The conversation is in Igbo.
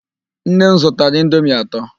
Nne m zụtara indomi atọ.